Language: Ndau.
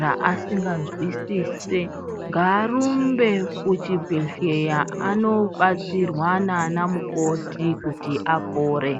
raasinganzwisise ngaarumbe kuchibhedhlera anobatsirwa nanamukoti kuti apore .